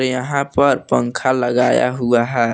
यहां पर पंखा लगाया हुआ है।